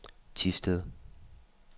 Thisted